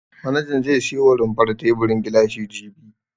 Manajan zai siyo wa rumfar teburin gilashi jibi.